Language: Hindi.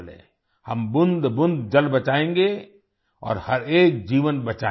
हम बूंदबूंद जल बचाएंगे और हर एक जीवन बचाएंगे